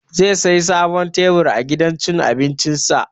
Zai saya sabon tebur a gidan cin abincin sa